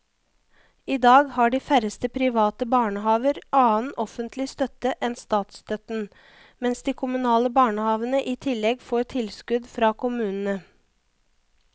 I dag har de færreste private barnehaver annen offentlig støtte enn statsstøtten, mens de kommunale barnehavene i tillegg får tilskudd fra kommunene.